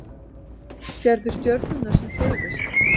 Sérðu stjörnuna sem hreyfist?